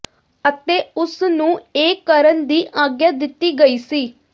ਅਤੇ ਉਸਨੂੰ ਇਹ ਕਰਨ ਦੀ ਆਗਿਆ ਦਿੱਤੀ ਗਈ ਸੀ